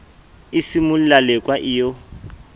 e simolla lekwa e yo